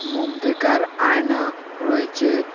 মুখ দেকার আয়না রয়েচে ।